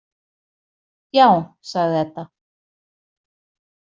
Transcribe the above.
Já, sagði Edda.